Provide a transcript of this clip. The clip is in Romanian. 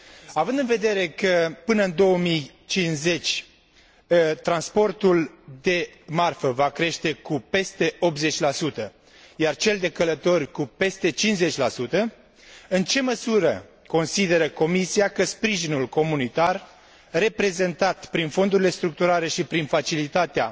Având în vedere că, până în 2050, transportul de marfă va crește cu peste 80 iar cel de călători cu peste 50 în ce măsură consideră Comisia că sprijinul comunitar, reprezentat prin fondurile structurale și prin facilitatea